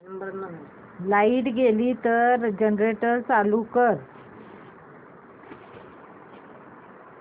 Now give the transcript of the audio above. light गेली तर generator चालू कर